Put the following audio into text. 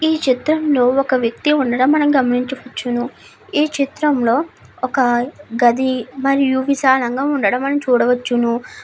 ఈ ఛుత్రంలో ఒక వేక్తి ఉండడం మనము గమనించవచ్చును. ఈ చిత్రంలో గది విశాలంగా ఉండడం మనము చూడవచ్చును.